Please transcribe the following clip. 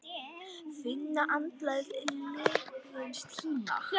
Finna andblæ liðins tíma.